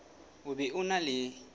o be o na le